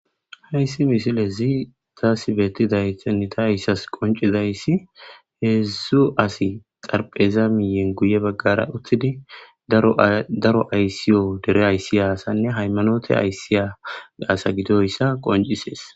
Hayssi misile zii taasibettiday tenita yssas qoncizayssi heeszzusu asi xarpheza miyen guye baggara uttidi daro ayssiyo dere ayssi asanne haymanote ayssiya gaasa gidoyssa qoncisees.